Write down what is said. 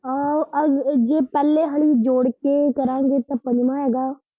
ਆਹੋ ਆ ਜੇ, ਜੇ ਪਹਿਲੇ ਆਲੀ ਜੋੜ ਕੇ ਕਰਾਂਗੇ ਤਾਂ ਪੰਜਵਾਂ ਹੈਗਾ।